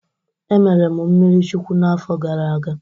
Emere m mmiri chukuwu n'afọ gara aga.